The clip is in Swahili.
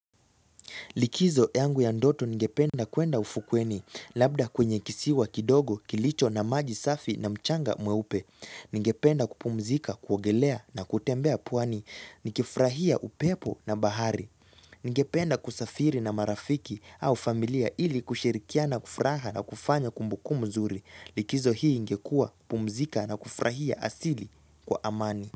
Likizo yangu ya ndoto ningependa kwenda ufukweni, labda kwenye kisiwa kidogo, kilicho na maji safi na mchanga mweupe. Ningependa kupumzika, kuogelea na kutembea pwani, nikifurahia upepo na bahari. Ningependa kusafiri na marafiki au familia ili kusherikia na kufraha na kufanya kumbuku mzuri. Likizo hii ingekua, kupumzika na kufurahia asili kwa amani.